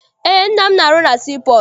Eé, nna m na arụ na sii pọọtụ.